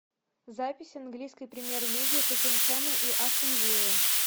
запись английской премьер лиги тоттенхэма и астон виллы